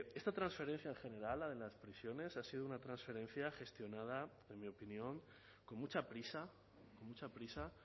esta transferencia en general la de las prisiones ha sido una transferencia gestionada en mi opinión con mucha prisa mucha prisa